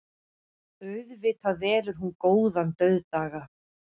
Auðvitað velur hún góðan dauðdaga.